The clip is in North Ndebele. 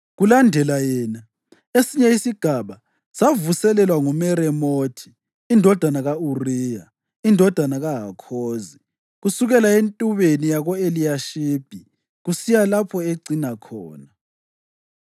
Kulandela yena, esinye isigaba savuselelwa nguMeremothi indodana ka-Uriya, indodana kaHakhozi, kusukela entubeni yako-Eliyashibi kusiya lapho ecina khona.